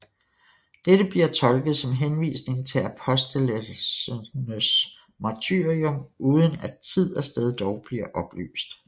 Dette bliver tolket som henvisning til apostlenes martyrium uden at tid og sted dog bliver oplyst